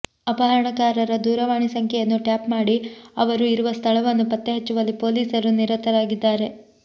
ಅಪಹರಣಕಾರರ ದೂರವಾಣಿ ಸಂಖ್ಯೆಯನ್ನುಟ್ಯಾಪ್ ಮಾಡಿ ಅವರು ಇರುವ ಸ್ಥಳವನ್ನು ಪತ್ತೆ ಹಚ್ಚುವಲ್ಲಿ ಪೊಲೀಸರು ನಿರತರಾಗಿದ್ದಾರೆ